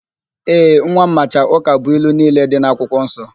Ee, nwa m macha ụkabụilu niile dị n'akwụkwọ nsọ.